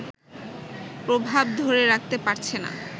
প্রভাব ধরে রাখতে পারছে না